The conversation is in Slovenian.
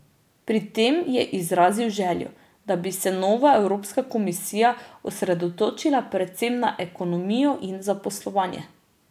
Pri tem je izrazil željo, da bi se nova Evropska komisija osredotočila predvsem na ekonomijo in zaposlovanje.